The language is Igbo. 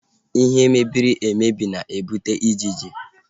Biini mmefu ahu na-ebute ijiji